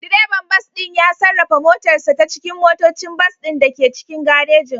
Direban bas ɗin ya sarrafa motarsa ​​ta cikin motocin bas ɗin da ke cikin garejin.